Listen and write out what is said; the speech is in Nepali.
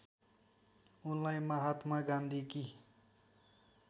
उनलाई महात्मा गान्धीकी